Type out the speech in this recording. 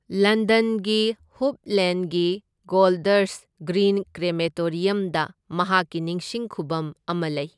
ꯂꯟꯗꯟꯒꯤ ꯍꯨꯞ ꯂꯦꯟꯒꯤ Golders Green ꯀ꯭ꯔꯦꯃꯦꯇꯣꯔꯤꯌꯝꯗ ꯃꯍꯥꯛꯀꯤ ꯅꯤꯡꯁꯤꯡ ꯈꯨꯚꯝ ꯑꯃ ꯂꯩ꯫